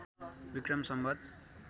Vikram Samvat